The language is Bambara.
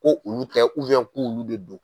Ko olu tɛ k'olu bɛ don.